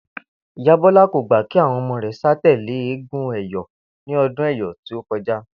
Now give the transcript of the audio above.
Ìyá Bó̩lá kò gbà kí àwo̩n o̩mo̩ rè̩ sà tèlé eégún è̩yó̩ ní o̩dún è̩yó̩ tí ó ko̩já